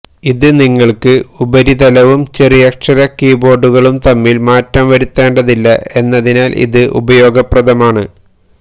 ഇത് നിങ്ങൾക്ക് ഉപരിതലവും ചെറിയക്ഷര കീബോർഡുകളും തമ്മിൽ മാറ്റം വരുത്തേണ്ടതില്ല എന്നതിനാൽ ഇത് ഉപയോഗപ്രദമാണ്